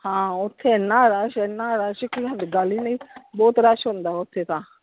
ਹਾਂ ਓਥੇ ਏਨਾ ਰੱਛ ਏਨਾ ਰੱਛ ਕੀ ਹੱਲੇ ਗੱਲ ਹੀ ਨਹੀਂ ਬਹੁਤ ਰੱਛ ਹੁੰਦਾ ਓਥੇ ਤਾਂ।